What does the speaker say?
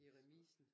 I remisen